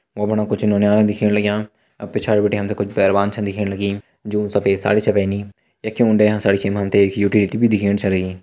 औ बन कुछ इन्होंने दिखन लाग्या अब पिछाड़ गोटियाँ कुछ पहलवान दिखन लगी जो सफेद साड़ी सा पहनी एक मुंड्या एक भी दिखन छलनी।